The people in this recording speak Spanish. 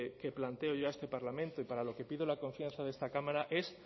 que planteo yo a este parlamento y para lo que pido la confianza de esta cámara es